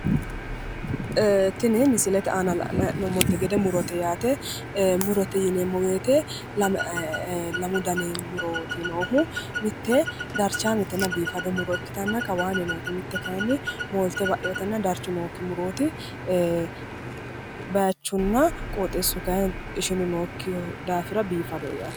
Tini misilete aana la'nanni hee'noommoti murote muro lamu gatite iseno mite molite ba"ani noote mite biife noote yaate